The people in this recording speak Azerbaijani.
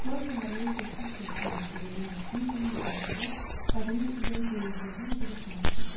May səhərindən getdikcə sürətlənən nəbzi ilə müqayisədə qadının ürək döyüntüləri necə də sabit idi.